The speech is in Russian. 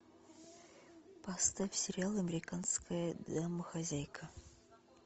поставь сериал американская домохозяйка